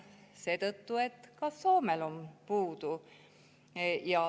Seetõttu, et ka Soomes on neid puudu.